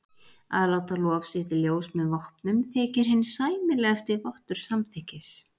Að láta lof sitt í ljós með vopnum þykir hinn sæmilegasti vottur samþykkis.